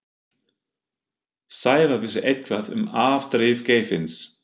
Sævar vissi eitthvað um afdrif Geirfinns.